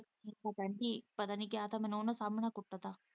ਪਤਾ ਕਿ ਪਤਾ ਨੀ ਕਿਆ ਥਾਂ ਮੈਨੂੰ ਉਹਨਾਂ ਸਾਹਮਣੇ ਕੁੱਟ ਤਾਂ।